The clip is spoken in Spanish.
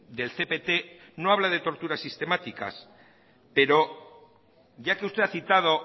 del cpt no habla de torturas sistemáticas pero ya que usted ha citado